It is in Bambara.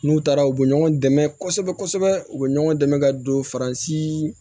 N'u taara u bɛ ɲɔgɔn dɛmɛ kosɛbɛ kosɛbɛ u bɛ ɲɔgɔn dɛmɛ ka don faransi